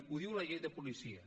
ho diu la llei de policia